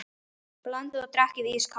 Blandið og drekkið ískalt.